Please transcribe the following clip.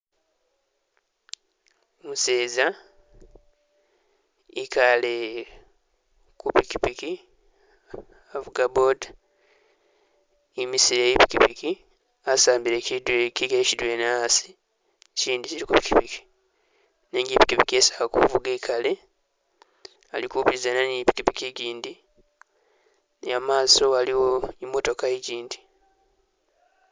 Umuseza ikaale kupikipiki, avuga boda, imisile i'pikipiki, asambile kigele kidwena khasi, kindi kili kupikipiki. Nenga i'pikipiki isi ali kuvuga ikaale, ali kupisaana ni i'pikipiki igyindi, ne imaaso aliwo i'motoka egyindi.